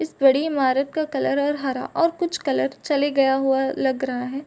इस बड़ी ईमारत का कलर और हरा और कुछ कलर चले गया हुआ लग रहा है।